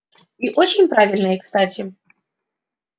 и очень правильные кстати